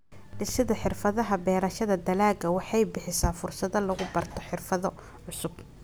Dhisidda Xirfadaha Beerashada Dalagga waxay bixisaa fursado lagu barto xirfado cusub.